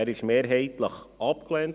Er wurde mehrheitlich abgelehnt.